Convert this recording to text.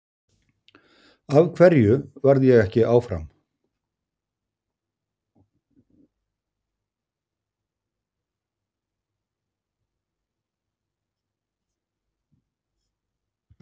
Af hverju varð ég ekki áfram?